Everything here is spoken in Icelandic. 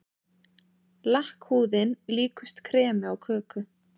Lakkhúðin líkust kremi á köku.